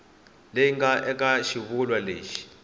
leyi nga eka xivulwa lexi